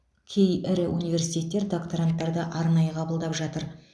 кей ірі университеттер докторанттарды арнайы қабылдап жатыр